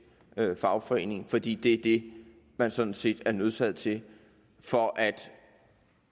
fagforening fordi det er det man sådan set er nødsaget til for at